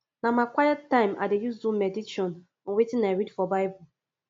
na my quiet time i dey use do medition on wetin i read for bible